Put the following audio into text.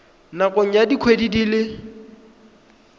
nakong ya dikgwedi di le